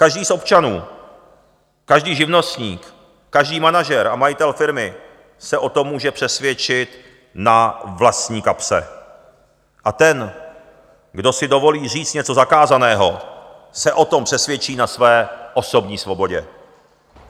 Každý z občanů, každý živnostník, každý manažer a majitel firmy se o tom může přesvědčit na vlastní kapse, a ten, kdo si dovolí říct něco zakázaného, se o tom přesvědčí na své osobní svobodě.